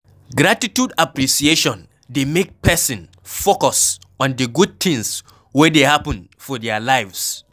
Gratitude appreciation dey make person focus on di good things wey dey happen for their lives